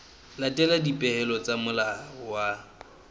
latela dipehelo tsa molao wa